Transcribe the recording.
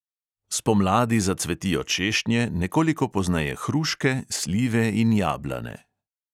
Spomladi zacvetijo češnje, nekoliko pozneje hruške, slive in jablane.